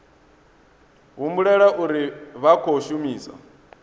humbulela uri vha khou shumisa